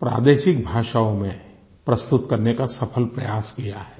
प्रादेशिक भाषाओं में प्रस्तुत करने का सफल प्रयास किया है